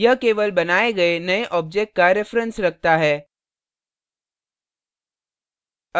यह केवल बनाये गये नये object का reference रखता है